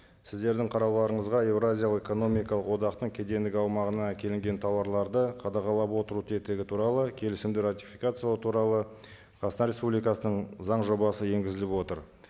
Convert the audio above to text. сіздердің қарауларыңызға еуразиялық экономикалық одақтың кедендік аумағына әкелінген тауарларды қадағалап отыру тетігі туралы келісімді ратификациялау туралы қазақстан республикасының заң жобасы енгізіліп отыр